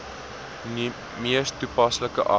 mees toepaslike ag